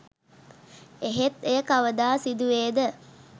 එහෙත් එය කවදා සිදුවේද